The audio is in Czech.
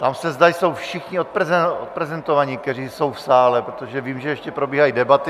Ptám se, zda jsou všichni odprezentováni, kteří jsou v sále, protože vím, že ještě probíhají debaty.